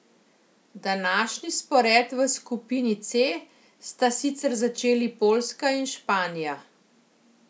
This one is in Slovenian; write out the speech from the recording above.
Današnji spored v skupini C sta sicer začeli Poljska in Španija.